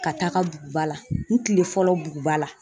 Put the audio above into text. Ka taaga BUGUBA la n kile fɔlɔ BUGUBA la.